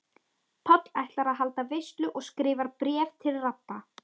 Páll ætlar að halda veislu og skrifar bréf til Rabba.